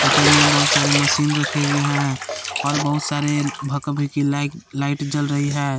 पर में बहुत सारे मशीन रखे हुए हैं और बहुत सारे भका भिकि लाइट लाइट जल रही है।